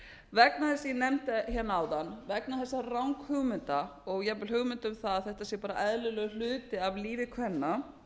vegna þess sem ég nefndi hérna áðan vegna þessara ranghugmynda og jafnvel hugmynda um að þetta sé bara eðlilegur hluti af lífi kvenna